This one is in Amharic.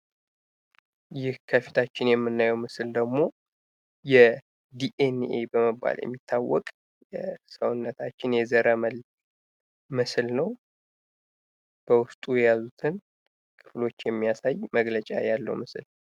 ይህ ከፊታችን የምናየው ምስል ደግሞ የዲኤንኤ በመባል የሚታወቅ ሰውነታችን የዘረመል ምስል ነው። በውስጡ የያዙትን ክፍሎች የሚያሳይ መግለጫ ያለው ምስል ነው።